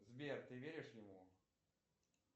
сбер ты веришь ему